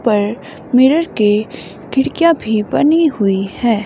पर मिरर के खिड़कियां भी बनी हुई है।